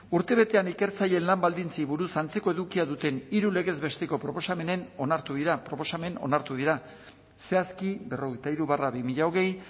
urtebetean ikertzaileen lan baldintzei buruz antzeko edukia duten hiru legez besteko proposamen onartu dira zehazki berrogeita hiru barra bi mila hogei